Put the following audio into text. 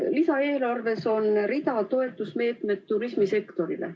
Lisaeelarves on rida toetusmeetmeid turismisektorile.